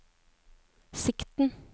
sikten